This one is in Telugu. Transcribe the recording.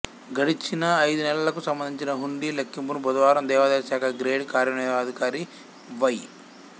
గడచిన అయిదు నెలలకు సంబంధించిన హుండీ లెక్కింపును బుధవారం దేవాదాయ శాఖ గ్రేడ్ కార్యనిర్వహణాధికారి వై